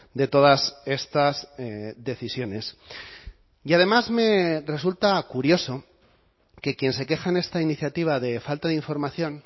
de todas estas decisiones y además me resulta curioso que quien se queja en esta iniciativa de falta de información